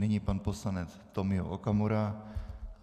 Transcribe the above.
Nyní pan poslanec Tomio Okamura.